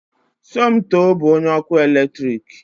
Somoto bụ onye ọkụ eletrik